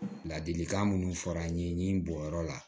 Ladilikan minnu fɔra an ye ni bɔnyɔrɔ la